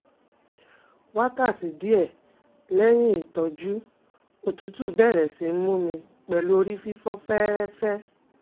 Wákàtí díẹ̀ lẹ́yìn ìtọ́jú òtútù bẹ̀rẹ̀ sí mú mi pẹ̀lú orí fífọ́ fẹ́ẹ́rẹ́fẹ́